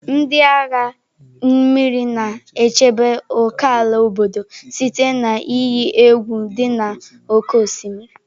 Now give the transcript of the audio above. Ndị agha mmiri na-echebe ókèala obodo site na iyi egwu dị n'oké osimiri.